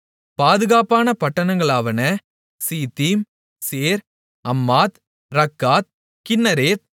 பாதுகாப்பான பட்டணங்களாவன Ziddim Zer Hammath Rakkath கின்னரேத்